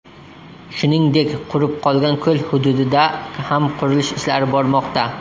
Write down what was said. Shuningdek, qurib qolgan ko‘l hududida ham qurilish ishlari bormoqda.